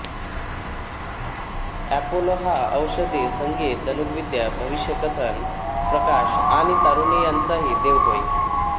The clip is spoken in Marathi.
एपोलो हा औषधी संगीत धनुर्विद्या भविष्यकथन प्रकाश आणि तारुण्य यांचाही देव होय